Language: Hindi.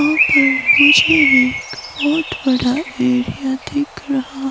वहां पर मुझे एक बहुत बड़ा एरिया दिख रहा ।